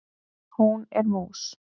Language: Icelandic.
Hún er mús.